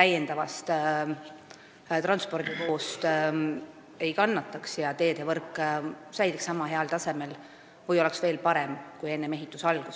täiendava veokoormuse pärast ei kannataks ja teedevõrk säiliks samal tasemel või oleks veel parem kui enne ehituse algust.